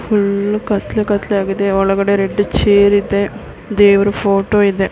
Full ಕತ್ತಲೆ ಕತ್ತಲೆ ಆಗಿದೆ ಒಳಗಡೆ ರೆಡ್ ಚೇರ್ ಇದೆ ದೇವ್ರ ಫೋಟೋ ಇದೆ.